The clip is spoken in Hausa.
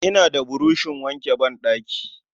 Ina da burushin wanke ban ɗaki